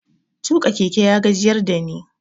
Tuƙa keke ya gajiyar da ni.